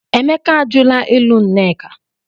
Emeka ajụla ịlụ Nneka.